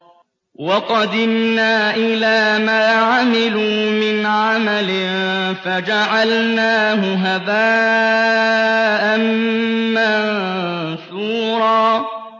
وَقَدِمْنَا إِلَىٰ مَا عَمِلُوا مِنْ عَمَلٍ فَجَعَلْنَاهُ هَبَاءً مَّنثُورًا